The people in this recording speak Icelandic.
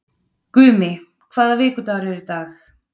Gumi, hvaða vikudagur er í dag?